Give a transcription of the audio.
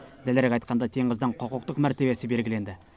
дәлірек айтқанда теңіздің құқықтық мәртебесі белгіленді